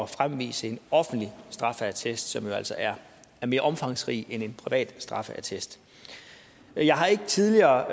fremvise en offentlig straffeattest som jo altså er mere omfangsrig end en privat straffeattest jeg har ikke tidligere